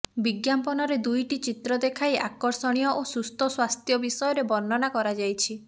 ବିଜ୍ଞାପନରେ ଦୁଇଟି ଚିତ୍ର ଦେଖାଇ ଆକର୍ଷଣୀୟ ଓ ସୁସ୍ଥ ସ୍ୱାସ୍ଥ୍ୟ ବିଷୟରେ ବର୍ଣ୍ଣନା କରାଯାଇଛି